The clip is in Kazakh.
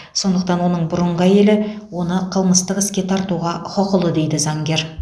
сондықтан оның бұрынғы әйелі оны қылмыстық іске тартуға құқылы дейді заңгер